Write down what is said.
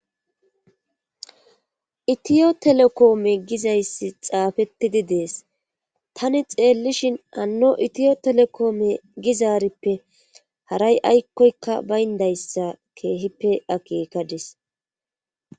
itiyo telekoome gizayssi xaafettidi dees tani xeellishin anno itiyo telekoome gizaarippe haray aykkoykka bayndayssa keehippe akeekadis